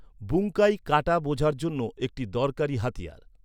বুঙ্কাই কাটা বোঝার জন্য একটি দরকারী হাতিয়ার।